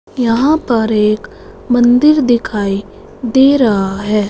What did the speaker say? यहां पर एक मंदिर दिखाई दे रहा है।